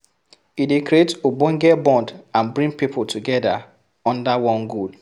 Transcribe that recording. E dey create ogbonge bond and bring pipo together under one goal